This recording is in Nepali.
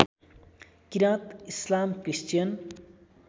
किरात इस्लाम क्रिस्चियन